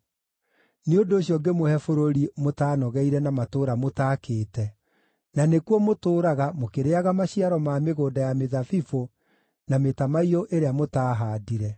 Nĩ ũndũ ũcio ngĩmũhe bũrũri mũtaanogeire na matũũra mũtaakĩte; na nĩkuo mũtũũraga, mũkĩrĩĩaga maciaro ma mĩgũnda ya mĩthabibũ na mĩtamaiyũ ĩrĩa mũtaahaandire.’